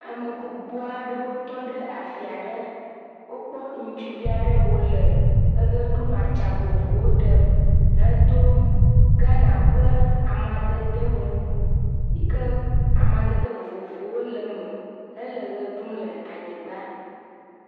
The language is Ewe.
Ame gbogbo aɖewo tɔ ɖe afi aɖe, wokpɔ ŋutsuvi aɖe wo nɔ ʋe ɖum le atsɛ̃a vovovowo ɖem. Edo Ghana ƒe amadede wu, amedede wu yi ke amadede vovowo le eme, hele ʋe ɖum le anyigba.